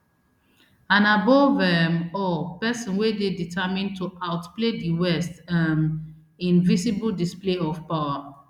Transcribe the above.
and above um all pesin wey dey determined to outplay di west um in visible display of power